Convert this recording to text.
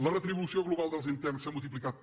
la retribució global dels interns s’ha multiplicat per